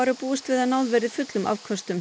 er búist við að náð verði fullum afköstum